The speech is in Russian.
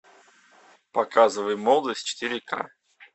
показывай молодость четыре ка